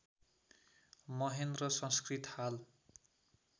महेन्द्र संस्कृत हाल